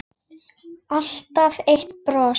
Alltaf eitt bros.